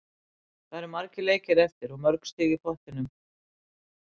Það eru margir leikir eftir og mörg stig í pottinum.